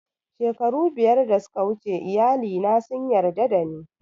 Shekaru biyar da suka wuce iyali na sun yarda da ni